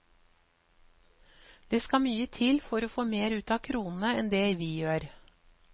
Det skal mye til å få mer ut av kronene enn det vi gjør.